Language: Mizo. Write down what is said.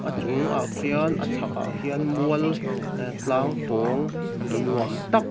chungah khian a chhakah khian mual ee tlang pawng nuam tak--